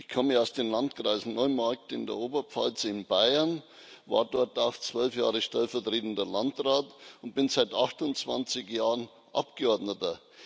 Ich komme aus dem Landkreis Neumarkt in der Oberpfalz in Bayern, war dort auch zwölf Jahre stellvertretender Landrat und bin seit 28 Jahren Abgeordneter.